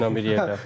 Oğlu ilə bir yerdə.